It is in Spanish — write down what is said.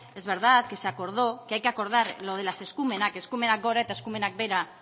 es verdad que se acordó que hay que acordar lo de las eskumenak eskumenak gora eta eskumenak behera